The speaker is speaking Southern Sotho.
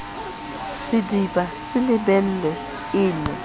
sediba se lebelwe e ne